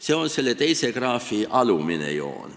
See on teise graafi alumine joon.